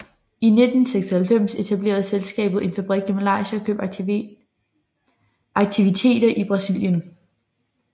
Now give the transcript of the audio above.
I 1996 etablerede selskabet en fabrik i Malaysia og købte aktiviteter i Brasilien